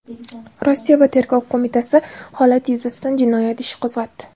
Rossiya Tergov qo‘mitasi holat yuzasidan jinoyat ishi qo‘zg‘atdi.